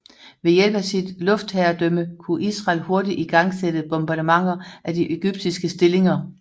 Ved hjælp af sit luftherredømme kunne Israel hurtigt igangsætte bombardementer af de egyptiske stillinger